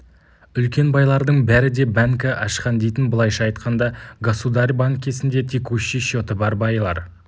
үлкен байлардың бәрі де бәнкі ашқан дейтін былайша айтқанда государь банкесінде текущий счеты бар байлар